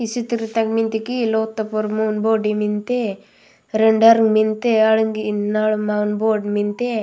इच्छित्रता मिडगी लोथ तपो मोन बिंद मिनथे रंडरंग मिनठे अड़ नड़ बोध मिनथे।